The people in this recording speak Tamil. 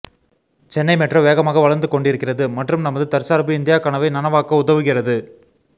சென்னை மெட்ரோ வேகமாக வளர்ந்து கொண்டிருக்கிறது மற்றும் நமது தற்சார்பு இந்தியா கனவை நனவாக்க உதவுகிறது